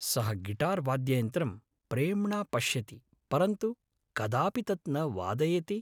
सः गिटार् वाद्ययन्त्रं प्रेम्णा पश्यति परन्तु कदापि तद् न वादयति।